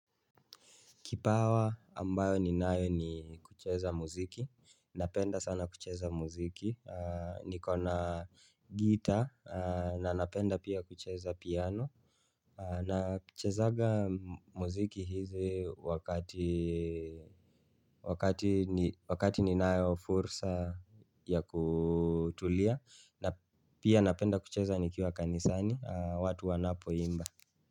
Kipawa ambayo ninayo ni kucheza muziki. Napenda sana kucheza muziki. Niko na gitaa na napenda pia kucheza piano. Na kuchezaga muziki hizi wakati wakati ninayo fursa ya kutulia na pia napenda kucheza nikiwa kanisani watu wanapo imba.